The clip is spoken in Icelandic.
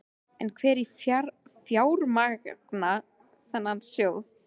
En hver á að fjármagna þennan sjóð?